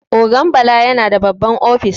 Ogan Bala yana da babban ofis.